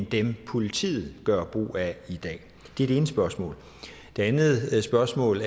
dem politiet gør brug af i dag det er det ene spørgsmål det andet spørgsmål